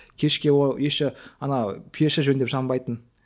кешке ол еще ана пеші жөндеп жанбайтын